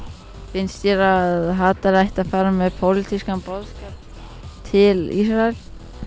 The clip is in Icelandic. finnst þér að hatari ætti að fara með pólitískan boðskap til Ísraels